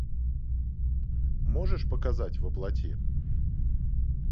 можешь показать во плоти